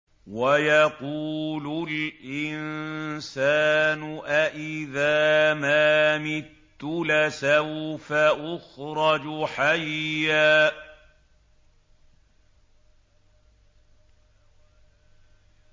وَيَقُولُ الْإِنسَانُ أَإِذَا مَا مِتُّ لَسَوْفَ أُخْرَجُ حَيًّا